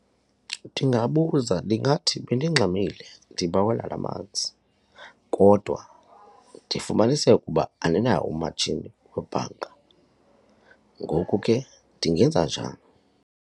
Ndingabuza ndingathi bendingxamile ndibawela namanzi kodwa ndifumanise ukuba aninawo umatshini webhanka, ngoku ke ndingenza njani.